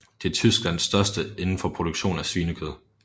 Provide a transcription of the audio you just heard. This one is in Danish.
Det er Tysklands største indenfor produktion af svinekød